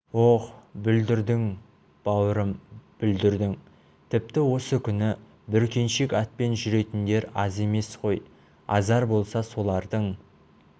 ох бүлдірдің бауырым бүлдірдің тіпті осы күні бүркеншек атпен жүретіндер аз емес қой азар болса солардың